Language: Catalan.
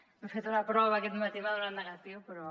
m’he fet una prova aquest matí i m’ha donat negatiu però